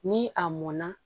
Ni a mɔnna